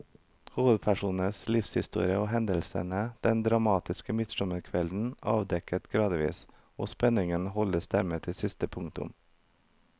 Hovedpersonens livshistorie og hendelsene den dramatiske midtsommerkvelden avdekkes gradvis, og spenningen holdes dermed til siste punktum.